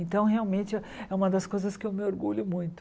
Então, realmente, é uma das coisas que eu me orgulho muito.